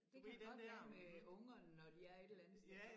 Det kan godt være med ungerne når de er et eller andet sted